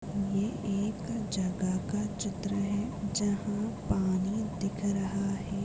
ये एक जगह का चित्र हैं जहाँ पानी दिख रहा हैं।